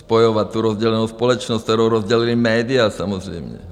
Spojovat tu rozdělenou společnost, kterou rozdělila média samozřejmě.